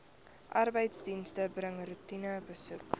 arbeidsdienste bring roetinebesoeke